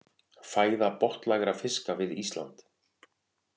Fæða botnlægra fiska við Ísland.